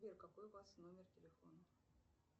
сбер какой у вас номер телефона